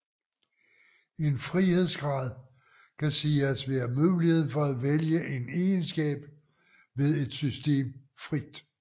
En frihedsgrad kan siges at være muligheden for at vælge en egenskab ved et system frit